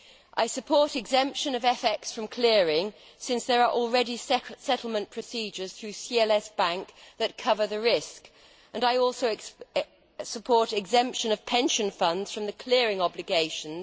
I support exemption of foreign exchange from clearing, since there are already settlement procedures through CLS Bank that cover the risk. I also support the exemption of pension funds from the clearing obligations.